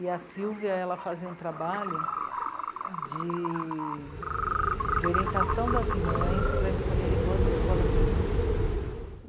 E a Sílvia, ela fazia um trabalho de... de orientação das mães para escolherem boas escolas para os seus filhos.